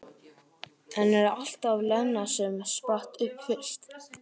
En það var alltaf Lena sem spratt upp fyrst.